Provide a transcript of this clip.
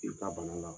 I ka bana la